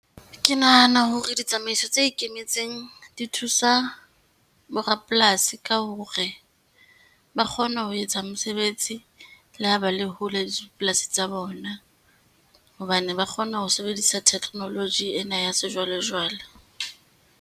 Ke nahana hore ditsamaiso tse ikemetseng di thusa borapolasi ka hore, ba kgona ho etsa mosebetsi le ho ba le hole le dipolasi tsa bona, hobane ba kgona ho sebedisa technology ena ya sejwalejwale.